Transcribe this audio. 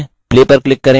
ok पर click करें